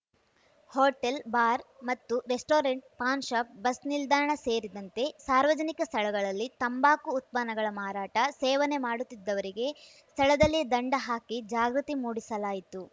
hotel bar ಮತ್ತು restaurant pan shop bus ನಿಲ್ದಾಣ ಸೇರಿದಂತೆ ಸಾರ್ವಜನಿಕ ಸ್ಥಳಗಳಲ್ಲಿ ತಂಬಾಕು ಉತ್ಪನ್ನಗಳ ಮಾರಾಟ ಸೇವನೆ ಮಾಡುತ್ತಿದ್ದವರಿಗೆ ಸ್ಥಳದಲ್ಲಿಯೇ ದಂಡ ಹಾಕಿ ಜಾಗೃತಿ ಮೂಡಿಸಲಾಯಿತು